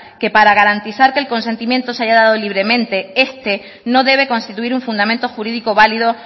que para garantizar que el consentimiento se haya dado libremente este no debe constituir un fundamento jurídico válido